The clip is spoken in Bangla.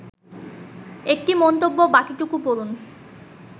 ১টি মন্তব্য বাকিটুকু পড়ুন